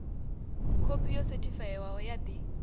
khophi yo sethifaiwaho ya ḽi